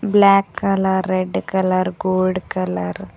block colour red colour gold colour --